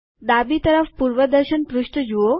ડાબી તરફ પૂર્વદર્શન પૃષ્ઠ જુઓ